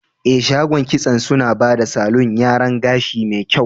Eh, shagon kitson suna bada salon yaran gashi me kyau.